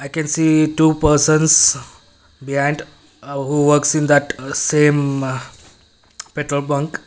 i can see two persons behind ah who works in that same ah petrol bunk.